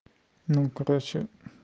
ну короче